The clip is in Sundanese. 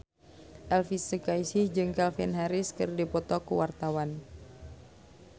Elvy Sukaesih jeung Calvin Harris keur dipoto ku wartawan